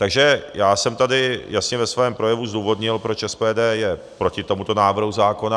Takže já jsem tady jasně ve svém projevu zdůvodnil, proč SPD je proti tomuto návrhu zákona.